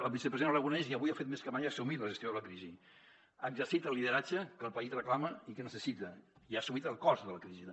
el vicepresident aragonès i avui ho ha fet més que mai ha assumit la gestió de la crisi ha exercit el lideratge que el país reclama i que necessita i ha assumit el cost de la crisi també